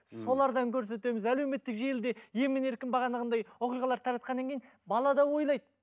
ммм солардан көрсетеміз әлеуметтік желіде емін еркін бағанағындай оқиғалар таратқаннан кейін бала да ойлайды